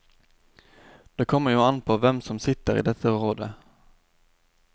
Det kommer jo an påhvem som sitter i dette rådet.